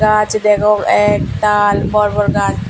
gaj degong ektal bor bor gaj.